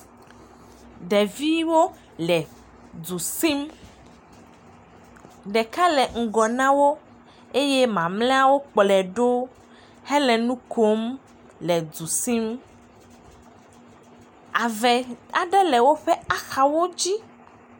Ɖeviwo le du sim, ɖeka le ŋgɔ nawo eye mamleawo kplɔe ɖo hele nu kom le du sim ave aɖe le woƒe axawo dzi.